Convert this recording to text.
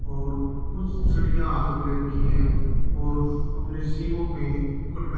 और कुछ छड़ियां हाथ में ले रखी है और अपने सींगों में मुकुट --